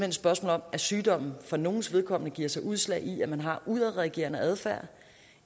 et spørgsmål om at sygdommen for nogles vedkommende giver sig udslag i at man har udadreagerende adfærd